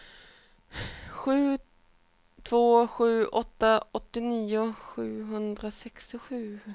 sju två sju åtta åttionio sjuhundrasextiosju